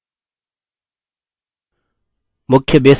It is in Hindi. मुख्य base window में चलते हैं